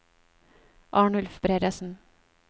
Arnulf Bredesen